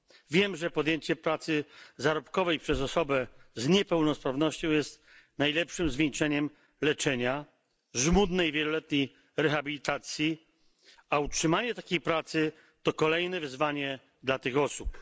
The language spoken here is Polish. Wiem, że podjęcie pracy zarobkowej przez osobę z niepełnosprawnością jest najlepszym zwieńczeniem leczenia oraz żmudnej, wieloletniej rehabilitacji, a utrzymanie takiej pracy to kolejne wyzwanie dla tych osób.